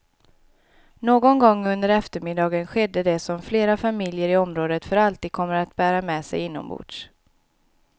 Någon gång under eftermiddagen skedde det som flera familjer i området för alltid kommer att bära med sig inombords.